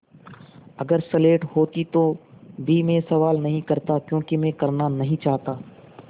अगर स्लेट होती तो भी मैं सवाल नहीं करता क्योंकि मैं करना नहीं चाहता